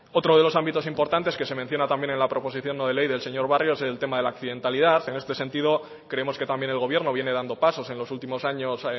otro de los ámbitos importantes que se menciona también en la proposición no de ley del señor barrio es el tema de la accidentalidad en este sentido creemos que también el gobierno viene dando pasos en los últimos años